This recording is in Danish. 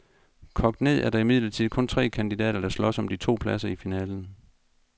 Kogt ned er der imidlertid kun tre kandidater, der slås om de to pladser i finalen.